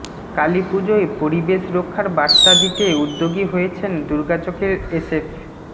কালীপুজোয় পরিবেশ রক্ষার বার্তা দিতে উদ্যোগী হয়েছেন দুর্গাচকের এসএফ